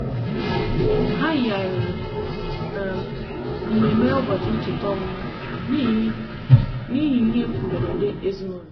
ha yigharịrị um mmemme ụbọchị ncheta ọmụmụ n'ihi ihe n'ihi ihe mberede ezinụụlọ.